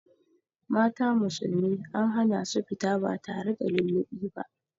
Mata musulmi an hana su fita ba tare da lullubi ba.